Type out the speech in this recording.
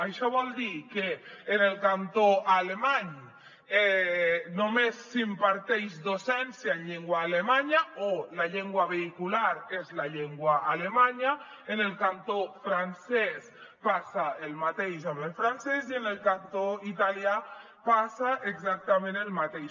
això vol dir que en el cantó alemany només s’imparteix docència en llengua alemanya o la llengua vehicular és la llengua alemanya en el cantó francès passa el mateix amb el francès i en el cantó italià passa exactament el mateix